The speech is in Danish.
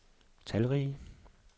talrige